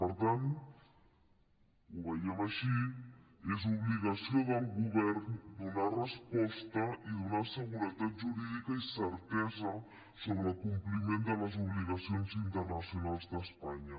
per tant ho veiem així és obligació del govern donar resposta i donar seguretat jurídica i certesa sobre el compliment de les obligacions internacionals d’espanya